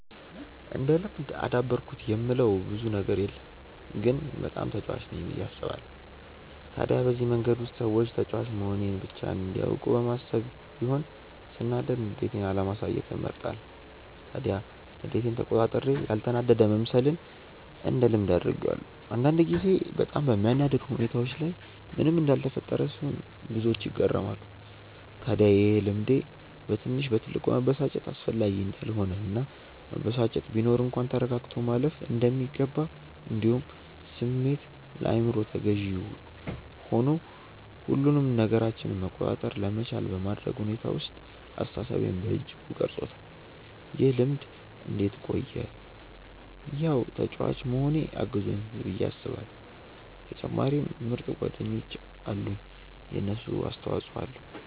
እንደ ልምድ አዳበርኩት የምለው ብዙም ነገር የለም ግን በጣም ተጫዋች ነኝ ብዬ አስባለው። ታዲያ በዚህ መንገድ ውስጥ ሰዎች ተጫዋች መሆኔን ብቻ እንዲያውቁ በማሰብ ይሆን ሰናዳድ ንዴቴን አለማሳየትን እመርጣለው። ታዲያ ንዴቴን ተቆጣጥሬ ያልተናደደ መምሰልን እንደ ልምድ አድርጌዋለው። አንዳንድ ጊዜ በጣም በሚያናድድ ሁኔታዎች ላይ ምንም እንዳልተፈጠረ ስሆን ብዙዎች ይገረማሉ። ታድያ ይሄ ልምዴ በትንሽ በትልቁ መበሳጨት አስፈላጊ እንዳልሆነ እና መበሳጨት ቢኖር እንኳን ተረጋግቶ ማለፍ እንደሚገባ እንዲሁም ስሜት ለአይምሮ ተገዢ ሆኑ ሁሉንም ነገራችንን መቆጣጠር ለመቻል በማድረግ ሁኔታ ውስጥ አስተሳሰቤን በእጅጉ ቀርፆታል። ይህ ልምድ እንዴት ቆየ ያው ተጫዋች መሆኔ አግዞኛል ብዬ አስባለው በተጨማሪም ምርጥ ጓደኞች አሉኝ የነሱም አስተፆይ ኣለዉ።